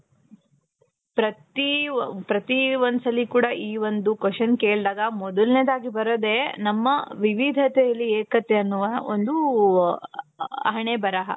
ಪ್ರತಿ ಒ ಪ್ರತಿ ಒoದು ಸರಿ ಕೂಡ ಈ ಒಂದು question ಕೇಳ್ದಾಗ ಮೊದಲನೆಯದಾಗಿ ಬರೋದೆ ನಮ್ಮ ವಿವಿಧತೆಯಲ್ಲಿ ಏಕತೆ ಅನ್ನುವ ಒಂದು ಹಣೆಬರಹ.